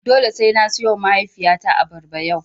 Dole sai na siyowa mahaifiyata abarba yau.